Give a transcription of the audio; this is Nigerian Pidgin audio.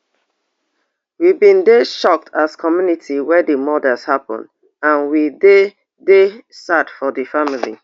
we bin dey shocked as community wen di murders happun and we dey dey sad for di family